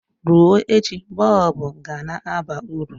Rụọ echi bọlbụ ga-na aba uru.